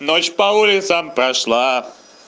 ночь по улицам прошла